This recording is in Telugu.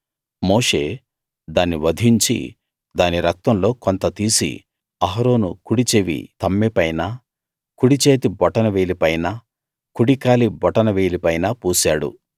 మోషే దాన్ని వధించి దాని రక్తంలో కొంత తీసి అహరోను కుడి చెవి తమ్మె పైనా కుడిచేతి బొటన వేలి పైనా కుడికాలి బొటన వేలి పైనా పూశాడు